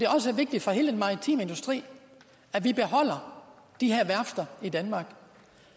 også vigtigt for hele den maritime industri at vi beholder de her værfter i danmark